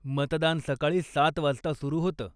मतदान सकाळी सात वाजता सुरू होतं.